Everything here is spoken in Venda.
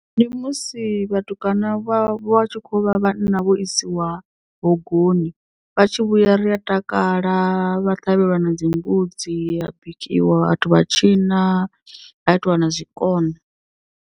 Ndi musi vhatukana vha vha tshi kho vha vhanna vho isiwa hogoni vha tshi vhuya ri a takala vha ṱhavhelwa na dzimbudzi ha bikiwa vhathu vha tshina ha itiwa na zwikona.